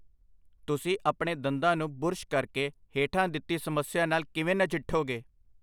ਤੁਸੀਂ ਆਪਣੇ ਦੰਦਾਂ ਨੂੰ ਬੁਰਸ਼ ਕਰਕੇ ਹੇਠਾਂ ਦਿੱਤੀ ਸਮੱਸਿਆ ਨਾਲ ਕਿਵੇਂ ਨਜਿੱਠੋਗੇ?